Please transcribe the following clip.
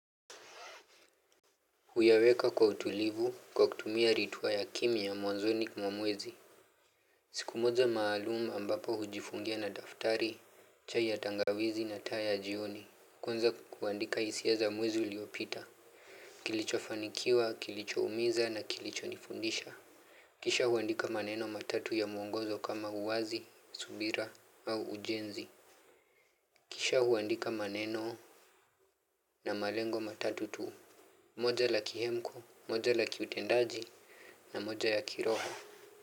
Huyaweka kwa utulivu kwa kutumia ritua ya kimya mwanzoni mwa mwezi. Siku moja maalum ambapo hujifungia na daftari, chai ya tangawizi na taa ya jioni. Kwanza kuandika hisia za mwezi uliopita. Kilicho fanikiwa, kilicho umiza na kilicho nifundisha. Kisha huandika maneno matatu ya mwongozo kama uwazi, subira au ujenzi. Kisha huandika maneno na malengo matatu tu. Moja la kihemko, moja la kiutendaji na moja ya kiroho.